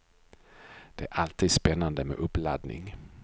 Det är alltid spännande med uppladdning.